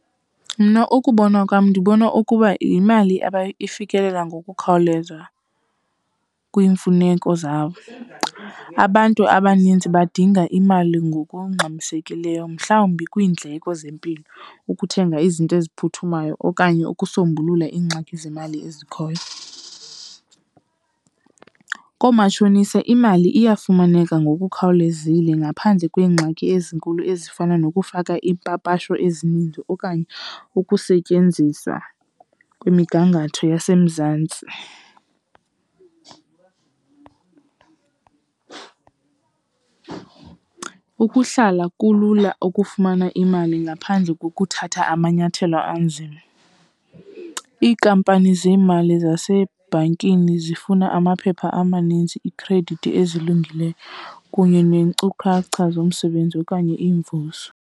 Mna ukubonwa kwam ndibona ukuba yimali fikelela ngokukhawuleza kwiimfuneko zabo. Abantu abaninzi badinga imali ngokungxamisekileyo mhlawumbi kwiindleko zempilo, ukuthenga izinto eziphuthumayo okanye ukusombulula iingxaki zemali ezikhoyo. Koomatshonisa imali iyafumaneka ngokukhawulezile ngaphandle kweengxaki ezinkulu ezifana nokufaka iipapasho ezininzi okanye ukusetyenziswa kwemigangatho yaseMzantsi. Ukuhlala kulula ukufumana imali ngaphandle kokuthatha amanyathelo anzima. Iinkampani zeemali zasebhankini zifuna amaphepha amaninzi, iikhredithi ezilungileyo kunye neenkcukacha zomsebenzi okanye iimvuso.